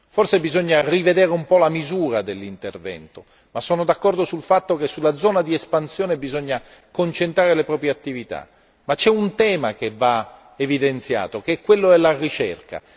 Forse bisogna rivedere un po' la misura dell'intervento, ma sono d'accordo sul fatto che sulla zona di espansione bisogna concentrare le proprie attività, ma c'è un tema che va evidenziato che è quello della ricerca.